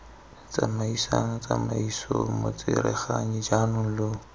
tsamaisang tsamaiso motsereganyi jaanong lo